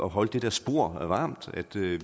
holde det der spor varmt og at vi